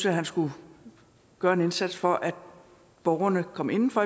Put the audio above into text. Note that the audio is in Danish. at han skulle gøre en indsats for at borgerne kom inden for